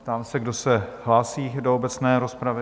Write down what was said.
Ptám se, kdo se hlásí do obecné rozpravy?